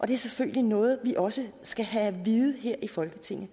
det er selvfølgelig noget vi også skal have at vide her i folketinget